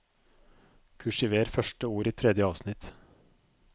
Kursiver første ord i tredje avsnitt